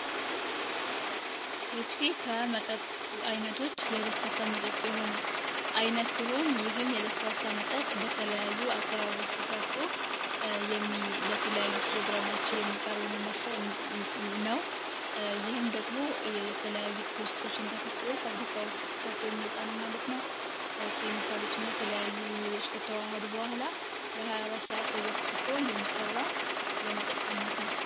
ፔፕሲ ከመጠጥ አይነቶች የለ0 መጠጥ የሆነ አይነት ሲሆን ይህም የለ0 መጠጥ በተለያዩ 144ሮች ተሰርቶ ለተለያዩ ፕሮግራሞችን የሚቃርብ ነው። ይህም ደግሞ የተለያዩ ፕሮሰሶች እንታካትል ወፍ አፍሪካ ውስጥ ተሰርቶ የሚወጣ ነው ማለት ነው። ኬሚካሎች እና የተለያዩ ውሄሎች ከተዋሀዱ በኋላ ለ24ተዘፍ ስፎ የሚሰራ የመጠጥ ዓይነት ነው።